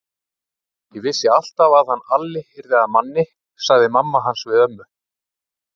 Ég vissi alltaf að hann Alli yrði að manni, sagði mamma hans við ömmu.